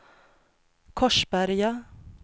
Korsberga